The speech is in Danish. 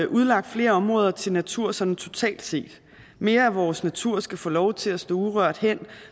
udlagt flere områder til natur sådan totalt set mere af vores natur skal få lov til at stå urørt hen